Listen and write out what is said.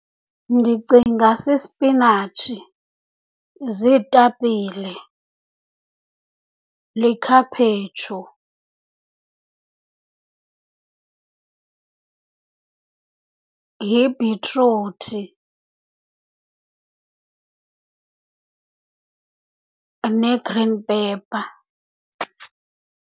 Ndicinga sisipinatshi, ziitapile, likhaphetshu, yibhitruthi, ne-green pepper.